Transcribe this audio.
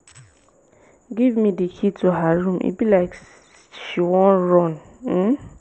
give me the key to her room e be like she wan run um